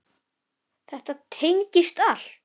Þetta tengist allt.